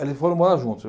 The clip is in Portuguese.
Eles foram morar juntos.